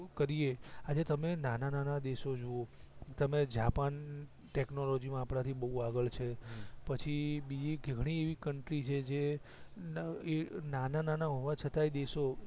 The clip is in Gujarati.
કરીએ આજે તમે નાના નાના દેશો જુઓ તમે જાપાન ટેકનોલોજી માં આપડા થી બવ આગળ છે પછી બીજી ઘણી એવી કન્ટ્રી છે જે એ નાના ના હોવા છતાં દેશો